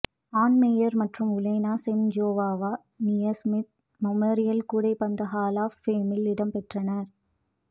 on Meyers மற்றும் Uljana Semjonova Naismith memorial கூடைப்பந்து hall of ஃபேமில் இடம்பெற்றன